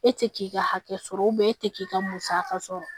E tɛ k'i ka hakɛ sɔrɔ e tɛ k'i ka musaka sɔrɔ